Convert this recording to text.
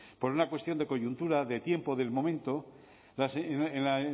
por una cuestión de coyuntura de tiempo del momento en la